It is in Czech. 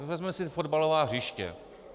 Vezměme si fotbalová hřiště.